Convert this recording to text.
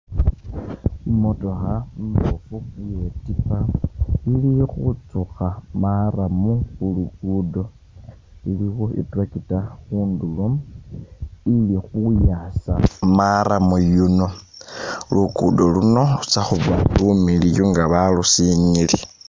I'motokha imboofu iye tipa ili khutsukha marram khu lugudo. Iliwo i'tractor khundulo ili khuyasa marram yuno. Lugudo luno lutsa khuba lumiliyu nga balusinyiile.